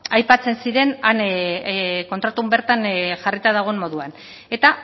aipatzen ziren han kontratuan bertan jarrita dagoen moduan eta